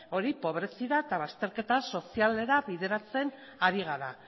hori pobreziara eta bazterketa sozialera bideratzen ari gara